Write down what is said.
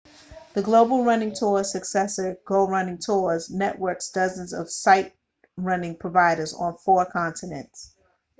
the global running tours successor go running tours networks dozens of sightrunning providers on four continents